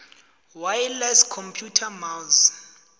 wireless computer mouse